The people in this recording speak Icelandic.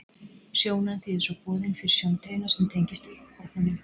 Sjónan þýðir svo boðin fyrir sjóntaugina sem tengist augnbotninum.